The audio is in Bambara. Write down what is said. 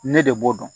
Ne de b'o dɔn